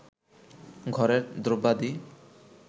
ঘরের দ্রব্যাদি